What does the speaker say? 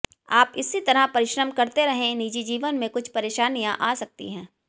आप इसी तरह परिश्रम करते रहें निजी जीवन में कुछ परेशानियां आ सकती हैं